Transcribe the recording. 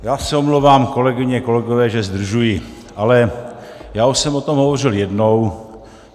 Já se omlouvám, kolegyně, kolegové, že zdržuji, ale já už jsem o tom hovořil jednou.